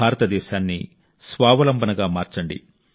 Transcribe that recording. భారతదేశాన్ని స్వావలంబనగా మార్చండి